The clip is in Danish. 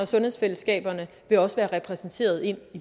sundhedsfællesskaberne vil også være repræsenteret i